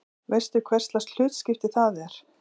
Veistu hverslags hlutskipti það er?